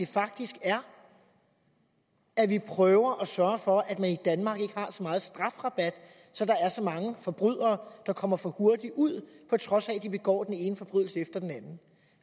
faktisk er at vi prøver at sørge for at man i danmark ikke har så meget strafrabat der er så mange forbrydere der kommer for hurtigt ud på trods af at de begår den ene forbrydelse efter den anden